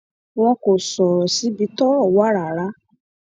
wọn kò sọrọ síbi tọrọ wà rárá